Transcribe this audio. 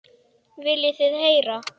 Viljið þið heyra?